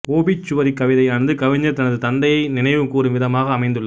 obituary கவிதையானது கவிஞர் தனது தந்தையை நினைவு கூறும் விதமாக அமைந்துள்ளது